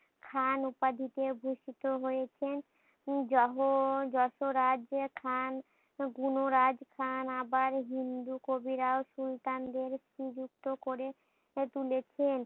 খান উপাধিতে ভূষিত হয়েছেন জহ যত রাজ্যে খান গুণরাজ খান আবার হিন্দু কবিরাও সুলতানদের নিযুক্ত করে তুলেছেন।